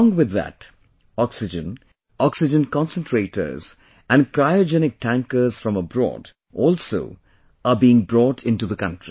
Along with that, oxygen, oxygen concentrators and cryogenic tankers from abroad also are being brought into the country